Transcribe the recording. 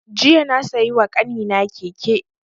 Jiya na siya wa ƙanina keke